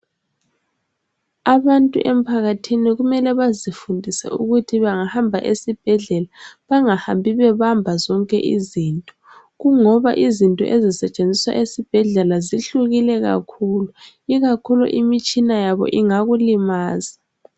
Abantu emphakathini kumele bazifundise ukuthi bangahamba esibhedlela, bangahambi bebamba zonke izinto, kungoba izinto ezisetshenziswa esibhedlela zihlukile kakhulu, ikakhulu imitshina yabo ingakulimaza.